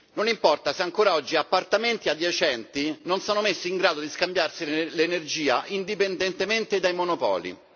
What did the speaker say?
non importa se ancora oggi appartamenti adiacenti non sono messi in grado di scambiarsi l'energia indipendentemente dai monopoli.